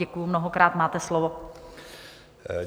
Děkuji mnohokrát, máte slovo.